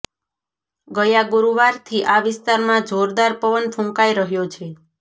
ગયા ગુરુવારથી આ વિસ્તારમાં જોરદાર પવન ફૂંકાઇ રહ્યો છે